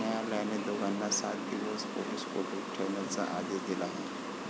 न्यायालयाने दोघांना सात दिवस पोलीस कोठडीत ठेवण्याचा आदेश दिला आहे.